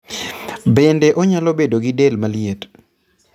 Bende onyalo bedo gi del maliet.